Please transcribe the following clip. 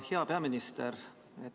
Hea peaminister!